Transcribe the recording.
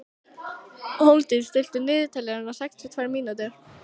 Hólmdís, stilltu niðurteljara á sextíu og tvær mínútur.